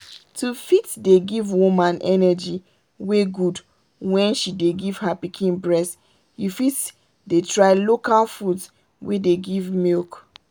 to fit dey give woman energy wey good when she dey give her pikin breast you fit dey try local foods wey dey give milk.